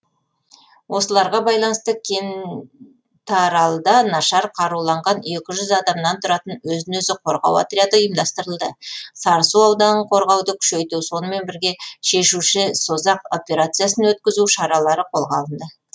осыларға байланысты кеннтаралда нашар қаруланған адамнан тұратын өзін өзі қорғау отряды ұйымдастырылды сарысу ауданын қорғауды күшейту сонымен бірге шешуші созақ операциясын өткізу шаралары қолға алынды